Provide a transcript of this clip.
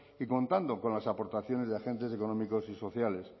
y contando con las aportaciones de agentes económicos y sociales